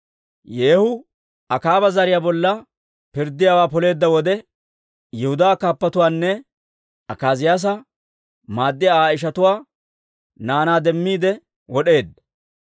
Yeehu Akaaba zariyaa bolla pirddiyaawaa poleedda wode, Yihudaa kaappatuwaanne Akaaziyaasa maaddiyaa Aa ishatuwaa naanaa demmiide wod'eedda.